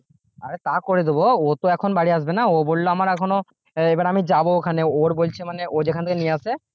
আরে তা করে দেব ও তো এখন বাড়ি আসবে না ও বলল আমার এখনো এখন আমি যাব ওখানে ওর বলছে মানে ও যেখান থেকে নিয়ে আসে